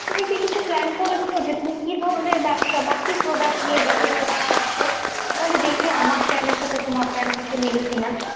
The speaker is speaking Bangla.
তুমি কি কিছু plan করেছো? যে তুমি কি ধরনের ব্যবসা বা কি product নিয়ে ব্যবসা করতে চাচ্ছ? তাহলে দেখি আমার plan এর সাথে তোমার plan কিছু মেলে কি না।